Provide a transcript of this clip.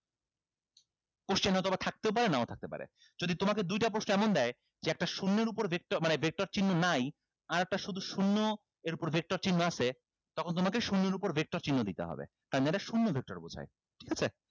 question এ অথবা থাকতেও পারে নাও পারে যদি তোমাকে দুইটা প্রশ্ন এমন দেয় যে একটা শূন্যের উপর vactor চিহ্ন নাই আরেকটা শুধু শুন্য এর উপর vector চিহ্ন আছে তখন তোমাকে শূন্যর উপর vector চিহ্ন দিতে হবে শুন্য vector বুঝায় ঠিক আছে